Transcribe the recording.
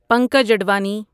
Pankaj Advani